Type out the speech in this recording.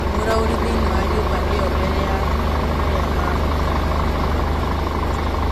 Mworaũarĩ thĩiniĩ wa nyũmba ĩo mbere ya aarĩmũmatannathiĩ kũmũnyita.